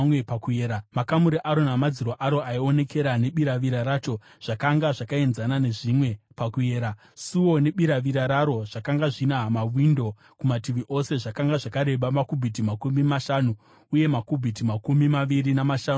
Makamuri aro namadziro aro aionekera nebiravira racho zvakanga zvakaenzana nezvimwe pakuyera. Suo nebiravira raro zvakanga zvina mawindo kumativi ose. Zvakanga zvakareba makubhiti makumi mashanu uye makubhiti makumi maviri namashanu paupamhi.